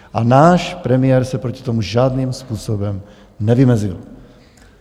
A náš premiér se proti tomu žádným způsobem nevymezil.